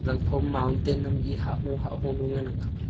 zangphom mountain am e hahua hahua ngan ang kap ley.